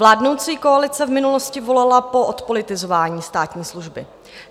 Vládnoucí koalice v minulosti volala po odpolitizování státní služby.